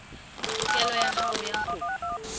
tokelo ya hao ya ho